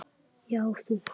Já, þú.